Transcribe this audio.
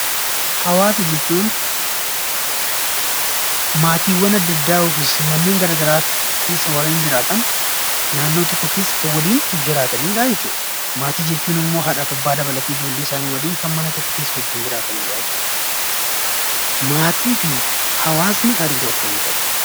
Hawaasa jechuun; maatiiwwan adda addaa ykn manneen garagaraatti keessa waareen jiraatan naannoo tokko keessa Kan walin jiraatanidha jechuudha. Maatii jechuun ammoo haadhaf Abba dabalate ijoollee isaani walin Kan mana tokko keessa wajjin jiraatanidha jechuudha. Maatiifi hawaasni hariroo akkami qabu?